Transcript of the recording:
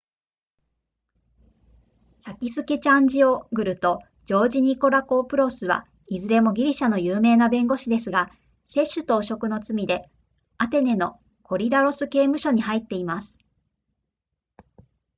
サキスケチャジオグルとジョージニコラコプロスはいずれもギリシャの有名な弁護士ですが接収と汚職の罪でアテネのコリダロス刑務所に入っています